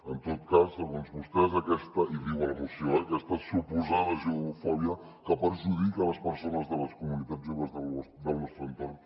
en tot cas segons vostès i ho diu a la moció eh aquesta suposada judeofòbia que perjudica les persones de les comunitats jueves del nostre entorn